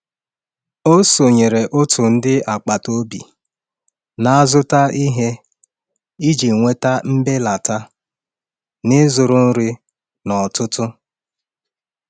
Ọ sonyere òtù ndị agbata obi na-azụta ihe iji nweta mbelata n’ịzụrụ nri n’ọtụtụ.